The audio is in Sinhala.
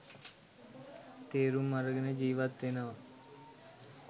තේරුම් අරගෙන ජීවත් වෙනවා